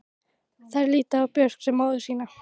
Þeir líta á Björk sem móður sína.